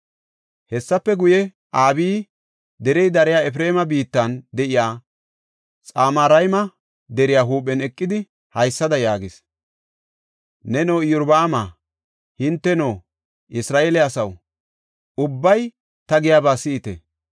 Hessafe guye, Abiyi derey dariya Efreema biittan de7iya Xamarayma deriya huuphen eqidi, haysada yaagis; “Neno, Iyorbaama, hinteno, Isra7eele asaw, ubbay ta giyaba si7ite!